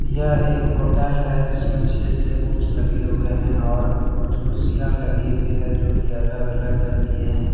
यह एक होटल है जिसमें छह टेबुल्स लगे हुए हैं और कुछ कुर्सियां लगी हुई है जो की अलग अलग रंग की हैं।